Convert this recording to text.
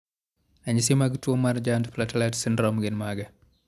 Ranyisi mag tuwo mar Giant platelet syndrome gin mage?